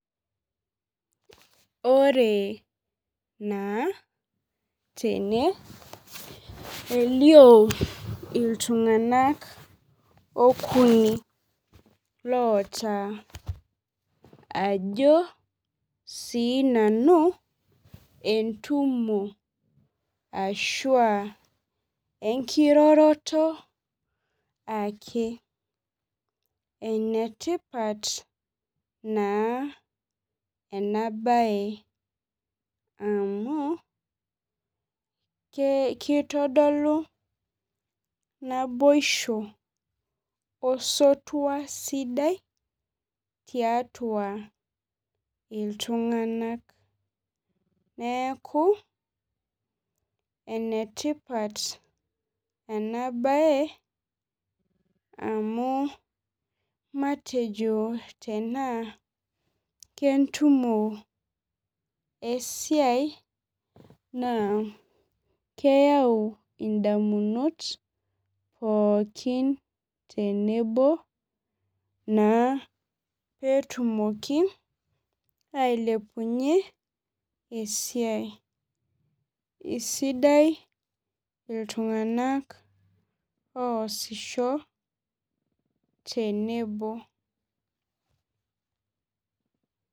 Ore naa tene elio iltung'anak okuni loota ajo sinanu entumo ashua enkiroroto ake enetipat naa ena baye amu ke kitodolu naboisho osotua sidai tiatua iltung'nak neeku enetipat ena baye amu matejo tenaa kentumo esiai naa keyau indamunot pookin tenebo naa petumoki ailepunyie esiai sidai iltung'anak oasisho tenebo.